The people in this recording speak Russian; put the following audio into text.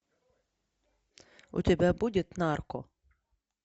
у тебя будет нарко